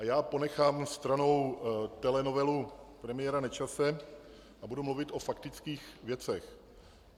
A já ponechám stranou telenovelu premiéra Nečase a budu mluvit o faktických věcech.